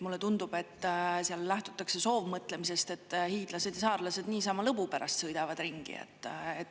Mulle tundub, et seal lähtutakse soovmõtlemisest, et hiidlased ja saarlased niisama lõbu pärast sõidavad ringi.